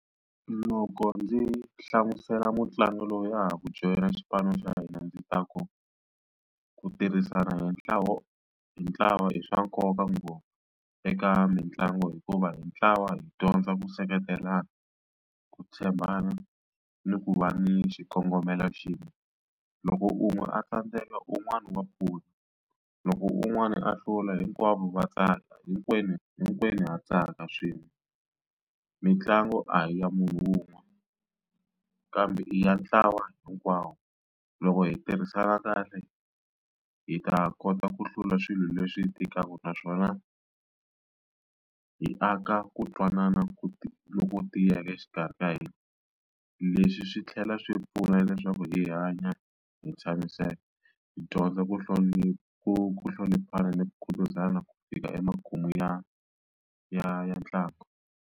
Loko ndzi hlamusela mutlangi loyi a ha ku joyina xipano xa hina ndzi ta ku ku tirhisana hi ntlawa hi ntlawa i swa nkoka ngopfu eka mitlangu hikuva hi ntlawa hi dyondza ku seketelana ku tshembana ni ku va ni xikongomelo xin'we loko u n'wi a tsandzeka un'wana wa pfuna loko un'wana a hlula hinkwavo va tsaka hinkwenu hinkwenu ha tsaka swin'we mitlangu a hi ya munhu un'we kambe i ya ntlawa hinkwawo loko hi tirhisana kahle hi ta kota ku hlula swilo leswi tikaka naswona hi aka ku twanana ku loko tiyeke exikarhi ka hina leswi swi tlhela swi pfuna leswaku hi hanya hi tshamisaka hi dyondza ku hlonipha ku hloniphana no khutazana ku fika emakumu ya ya ya ntlangu.